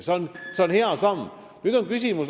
See on hea samm.